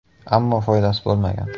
Ammo foydasi bo‘lmagan.